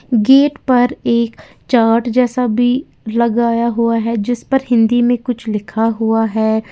Gate पर एक chart जैसा भी लगाया हुआ है जिस पर हिंदी में कुछ लिखा हुआ है।